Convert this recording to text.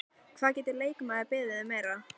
Hvað getur leikmaður beðið um meira?